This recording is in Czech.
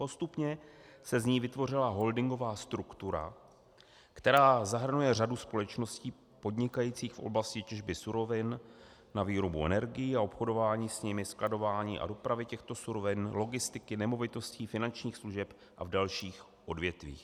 Postupně se z ní vytvořila holdingová struktura, která zahrnuje řadu společností podnikajících v oblasti těžby surovin na výrobu energií a obchodování s nimi, skladování a dopravy těchto surovin, logistiky, nemovitostí, finančních služeb a v dalších odvětvích.